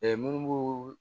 munnu b'u